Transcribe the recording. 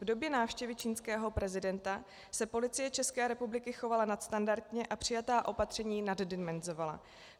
V době návštěvy čínského prezidenta se Policie České republiky chovala nadstandardně a přijatá opatření naddimenzovala.